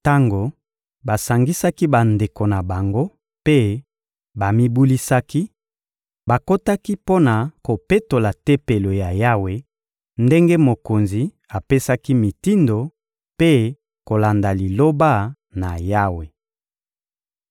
Tango basangisaki bandeko na bango mpe bamibulisaki, bakotaki mpo na kopetola Tempelo ya Yawe, ndenge mokonzi apesaki mitindo mpe kolanda Liloba na Yawe.